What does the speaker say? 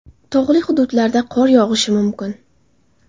Tog‘li hududlarda qor yog‘ishi mumkin.